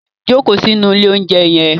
Jókòó sínú ilé-oúnjẹ yẹn